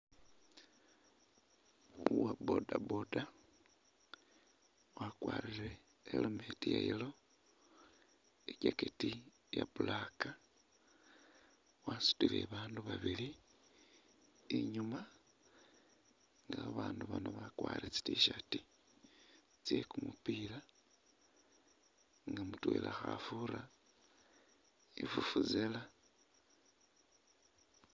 Uwa bodaboda wakwarire helmet ya yellow, i'jacket iya black wasutile baandu babili inyuuma nga babaandu bano bakwarire tsi Tshirt tsye kumupila nga mutwela khafuura i'vuvuzela.